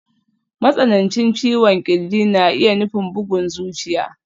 Matsanancin ciwon ƙirji na iya nufin bugun zuciya.